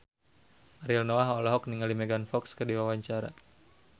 Ariel Noah olohok ningali Megan Fox keur diwawancara